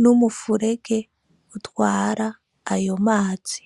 n'umufurege utwara ayo mazi.